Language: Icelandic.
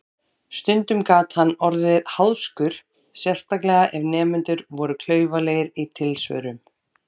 Stundum gat hann orðið háðskur, sérstaklega ef nemendur voru klaufalegir í tilsvörum.